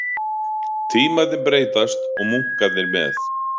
Tímarnir breytast og munkarnir með